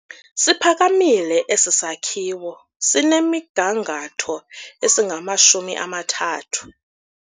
Siphakamile esi sakhiwo sinemigangatho engamashumi amathathu.